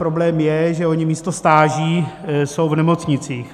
Problém je, že oni místo stáží jsou v nemocnicích.